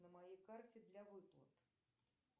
на моей карте для выплат